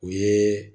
O ye